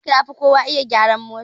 Ishaq yafi kowa iya gyaran mota.